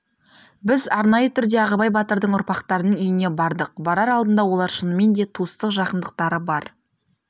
біз арнайы түрде ағыбай батырдың ұрпақтарының үйіне бардық барар алдында олар шынымен де туыстық жақындықтары бар